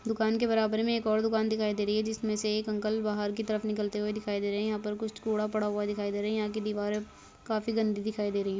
दुकान के बराबर में एक और दुकान दिखाई दे रही है जिसमें से एक अंकल बाहर की तरफ निकलते हुए दिखाई दे रहे है। यहाँ पर कुछ कूड़ा पड़ा हुआ दिखाई दे रहा है। यहाँ की दीवारें काफी गंदी दिखाई दे रही हैं।